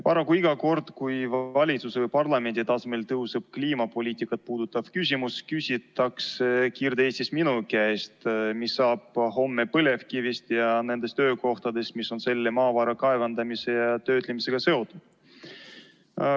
Paraku iga kord, kui valitsuse või parlamendi tasemel tõuseb kliimapoliitikat puudutav küsimus, küsitakse Kirde-Eestis minu käest, mis saab homme põlevkivist ja nendest töökohtadest, mis on selle maavara kaevandamise ja töötlemisega seotud.